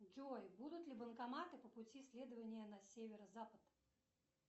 джой будут ли банкоматы по пути следования на северо запад